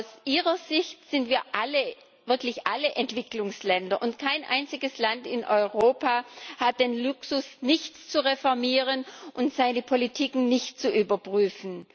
Aus ihrer Sicht sind wir alle wirklich alle Entwicklungsländer, und kein einziges Land in Europa hat den Luxus, nichts zu reformieren und seine Politik nicht zu überprüfen.